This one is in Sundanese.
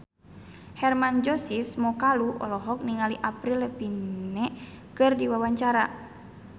Hermann Josis Mokalu olohok ningali Avril Lavigne keur diwawancara